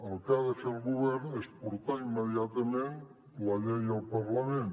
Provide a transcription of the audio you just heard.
el que ha de fer el govern és portar immediatament la llei al parlament